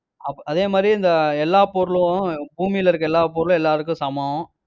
அ~ அதே மாதிரி, இந்த எல்லா பொருளும் பூமியில இருக்கிற எல்லா பொருளும் எல்லாருக்கும் சமம்.